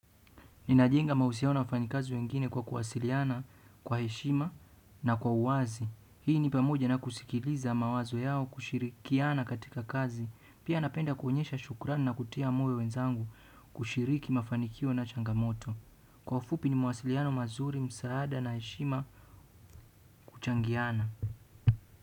Ninajenga mahusiano na wafanyikazi wengine kwa kuwasiliana, kwa heshima na kwa uwazi. Hii ni pamoja na kusikiliza mawazo yao kushirikiana katika kazi. Pia napenda kuonyesha shukrani na kutia moyo wenzangu kushiriki mafanikio na changamoto. Kwa ufupi ni mawasiliano mazuri msaada na heshima kuchangiana.